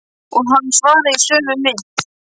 Og hann svaraði í sömu mynt.